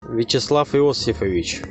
вячеслав иосифович